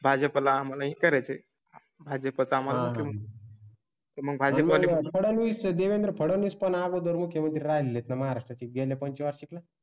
फळ व भाजीपाला आम्हाला ही करायची आहे भाजपचा म्हणून. देवेंद्र फडणीस पण अगोदर मुख्यमंत्री राहिले तर महाराष्ट्रा ची गेल्या पंचवार्षिक ला.